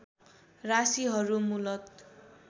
राशीहरू मूलत